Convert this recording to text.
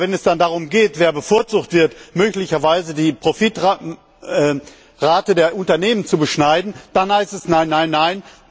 Aber wenn es dann darum geht, wer bevorzugt wird, und möglicherweise die Profitrate der Unternehmen zu beschneiden, dann heißt es Nein, nein, nein.